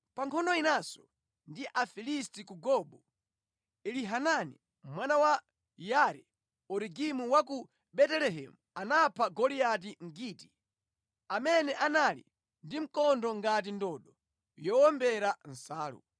Pa nkhondo inanso ndi Afilisti ku Gobu, Elihanani mwana wa Yaare-Oregimu wa ku Betelehemu anapha Goliati Mgiti, amene anali ndi mkondo ngati ndodo yowombera nsalu.